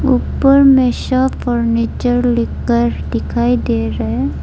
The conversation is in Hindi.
ऊपर में शाह फर्नीचर लिखकर दिखाई दे रहा है।